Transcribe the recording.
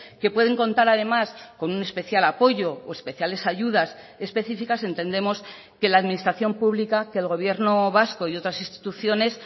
que pueden contar además con un especial apoyo o especiales ayudas específicas entendemos que la administración pública que el gobierno vasco y otras instituciones